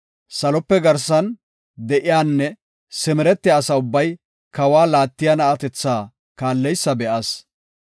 Salope garsan de7iyanne simeretiya asa ubbay kawa laattiya na7atetha kaalleysa be7as.